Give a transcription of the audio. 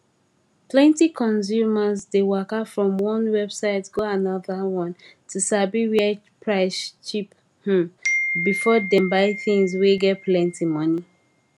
plenti consumers dey waka from one website go another one to sabi where price cheap um before them buy things wey get plenti moni